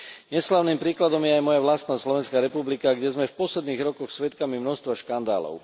Neslávnym príkladom je aj moja vlastná Slovenská republika, kde sme v posledných rokoch svedkami množstva škandálov.